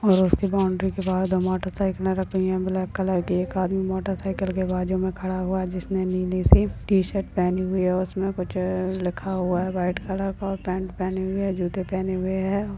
और उसके बाउंड्री के बाद मोटरसाइकिले रखी है ब्लैक कलर की एक आदमी मोटरसाइकिल के बाजू में खड़ा हुआ है जिसने नीली सी टी शर्ट पहनी हुई है उसमें कुछ लिखा हुआ है वाइट कलर का और पैंट पहनी हुई है जूते पहने हुए है और--